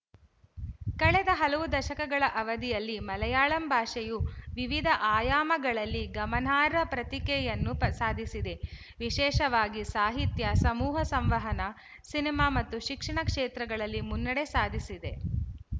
ಕಳೆದ ಹಲವು ದಶಕಗಳ ಅವಧಿಯಲ್ಲಿ ಮಲಯಾಳಂ ಭಾಷೆಯು ವಿವಿಧ ಆಯಾಮಗಳಲ್ಲಿ ಗಮನಾರ್ಹ ಪ್ರತಿಕೆಯನ್ನು ಪ್ರ ಸಾಧಿಸಿದೆ ವಿಶೇಷವಾಗಿ ಸಾಹಿತ್ಯ ಸಮೂಹ ಸಂವಹನ ಸಿನಿಮ ಮತ್ತು ಶಿಕ್ಷಣ ಕ್ಷೇತ್ರಗಳಲ್ಲಿ ಮುನ್ನಡೆ ಸಾಧಿಸಿದೆ